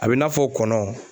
A bɛ i n'a fɔ kɔnɔ.